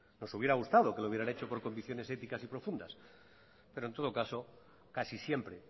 nos hubiera gustado que lo hubieran hecho por convicciones éticas y profundas pero en todo caso casi siempre